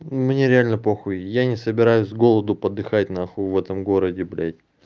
мне реально по хуй я не собираюсь с голоду подыхать на хуй в этом городе блять